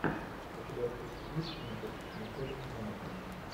у тебя в списке есть кинчик мишель монахэн